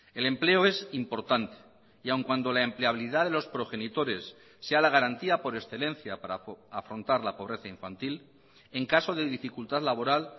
el empleo es importante y aun cuando la empleabilidad de los progenitores sea la garantía por excelencia para afrontar la pobreza infantil en caso de dificultad laboral